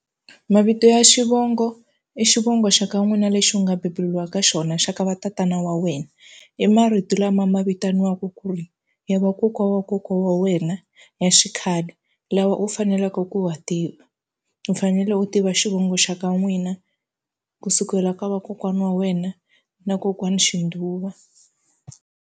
Mavito ya xivongo i xivongo xa ka n'wina lexi u nga bebuliwa ka xona xa ka va tatana wa wena i marito lama ma vitaniwaku ku ri ya vakokwa wa kokwa wa wena ya xikhale lawa u faneleke ku wa tiva u fanele u tiva xivongo xa ka n'wina kusukela ka vakokwani wa wena na kokwani xindhuwa.